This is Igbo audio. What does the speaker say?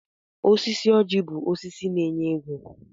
Osisi ọjị bụ osisi na-enye ego.